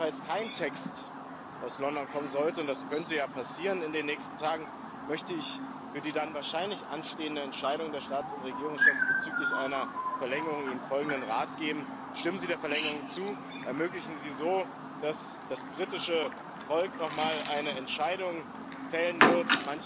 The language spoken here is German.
Und falls kein Text aus London kommen sollte, und das könnte ja passieren in den nächsten Tagen, möchte ich für die dann wahrscheinlich anstehende Entscheidung der Staats und Regierungschefs bezüglich einer Verlängerung ihnen folgenden Rat geben Stimmen Sie der Verlängerung zu, ermöglichen Sie so, dass das britische Volk noch mal eine Entscheidung fällen wird.